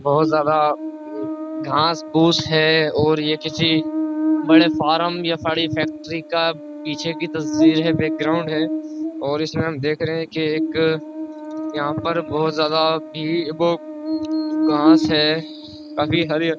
बोहोत ज्यादा घास फूस है और ये किसी बड़े फार्म या साड़ी फैक्ट्री का पीछे की तस्वीर है बैकग्राउंड है और इसमें देखे रहे हैं कि एक यहाँ पर बोहोत ज्यादा भीड़ वो घास है काफी हरी --